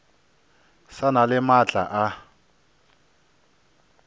sa na le maatla a